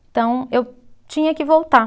Então, eu tinha que voltar.